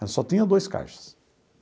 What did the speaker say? Ela só tinha dois caixas.